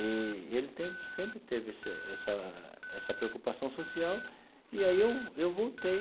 E e ele tem sempre teve esse essa essa preocupação social, e aí eu vol eu voltei